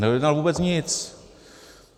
Nedojednal vůbec nic.